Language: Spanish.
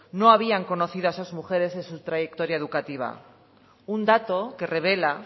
no habían conocido a esas mujeres en su trayectoria educativa un dato que revela